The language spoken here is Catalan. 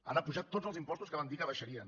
han apujat tots els impostos que van dir que abaixarien